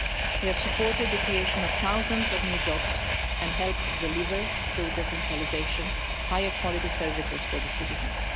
We have supported the creation of thousands of new jobs and helped deliver, through decentralisation, higher quality services for the citizens.